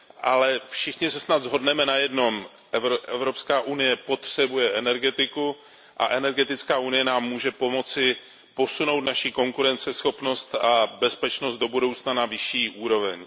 Ale všichni se snad shodneme na jednom Evropská unie potřebuje energetiku a energetická unie nám může pomoci posunout naši konkurenceschopnost a bezpečnost do budoucna na vyšší úroveň.